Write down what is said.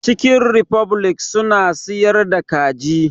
Cikin rifoblik suna siyar da kaji